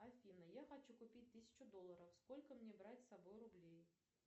афина я хочу купить тысячу долларов сколько мне брать с собой рублей